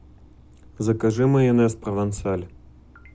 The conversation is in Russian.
закажи майонез провансаль